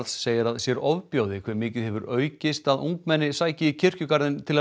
segir að sér ofbjóði hve mikið hefur aukist að ungmenni sæki í kirkjugarðinn til að